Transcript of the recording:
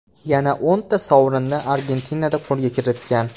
Yana o‘nta sovrinni Argentinada qo‘lga kiritgan.